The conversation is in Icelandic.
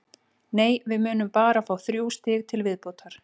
Nei, við munum bara fá þrjú stig til viðbótar.